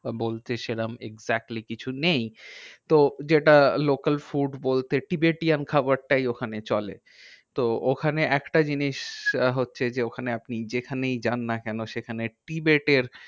বা বলতে সেরম exactly কিছু নেই। তো যেটা local food বলতে tibetan খাবারটাই ওখানে চলে। তো ওখানে একটা জিনিস আহ হচ্ছে যে ওখানে আপনি যেখানেই যান না কেন সেখানে tibet এর